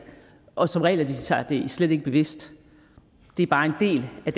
og som regel er de sig det slet ikke bevidst det er bare en del af